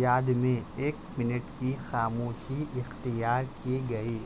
یاد میں ایک منٹ کی خاموشی اختیار ک گئی